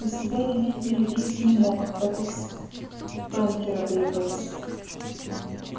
у себя ремень перегрызть не мог так у спэнкера перегрыз